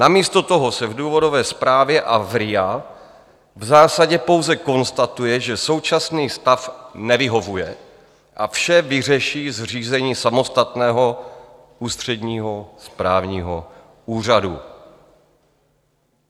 Namísto toho se v důvodové zprávě a v RIA v zásadě pouze konstatuje, že současný stav nevyhovuje, a vše vyřeší zřízení samostatného ústředního správního úřadu.